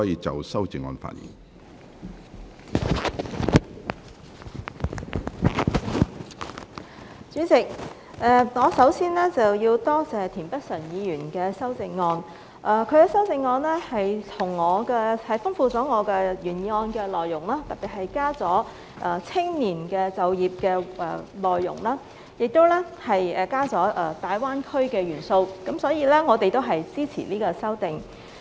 主席，我首先要多謝田北辰議員的修正案，他的修正案豐富了我原議案的內容，特別增加了青年就業的內容，亦增加了大灣區的元素，所以我們也支持這項修正案。